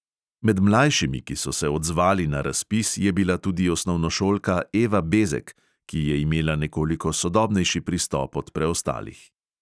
Med mlajšimi, ki so se odzvali na razpis, je bila tudi osnovnošolka eva bezek, ki je imela nekoliko sodobnejši pristop od preostalih.